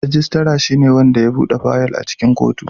Registrar shine wanda ya buɗe fayil a cikin kotu.